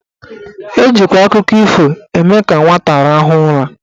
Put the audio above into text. Ejikwa akụkọ ifo eme ka nwata rahụọ ụra.